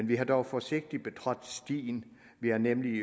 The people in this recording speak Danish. vi har dog forsigtigt betrådt stien vi har nemlig